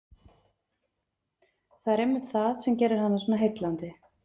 Það er einmitt það sem gerir hana svo heillandi.